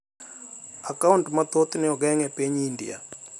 Akaunt mathoth ne ogeng' e piny India